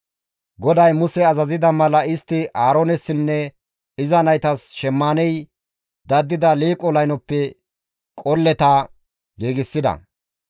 GODAY Muse azazida mala istti Aaroonessinne iza naytas shemmaaney daddida liiqo laynoppe qolleta giigsida.